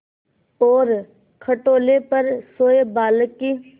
और खटोले पर सोए बालक की